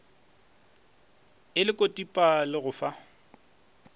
e lekodipa le go fa